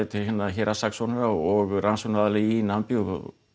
til héraðssaksóknara og rannsóknaraðila í Namibíu og